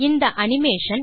இந்த அனிமேஷன்